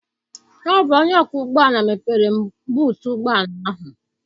Ọ bụ onye ọkwọ ụgbọala mepere m buutu ụgbọala ahụ.